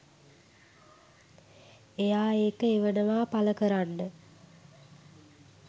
එයා ඒක එවනවා පළ කරන්න